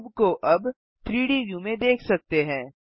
cube को अब 3डी व्यू में देख सकते हैं